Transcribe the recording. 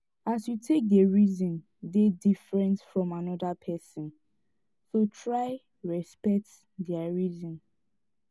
as yu take dey reason dey diffrent from anoda pesin so try respekt dia reason